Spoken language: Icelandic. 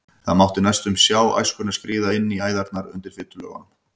Það mátti næstum sjá æskuna skríða inn í æðarnar undir fitulögunum.